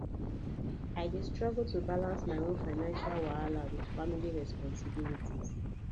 i dey struggle to balance my own financial wahala with family responsibilities